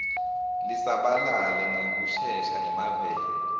lisabalale ngekushesha emaveni